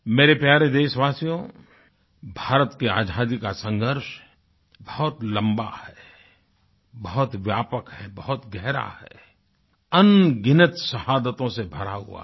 मेरे प्यारे देशवासियो भारत की आज़ादी का संघर्ष बहुत लम्बा है बहुत व्यापक है बहुत गहरा है अनगिनत शाहदतों से भरा हुआ है